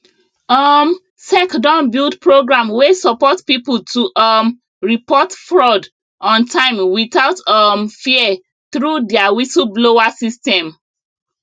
um sec don build program wey support people to um report fraud on time without um fear through their whistleblower system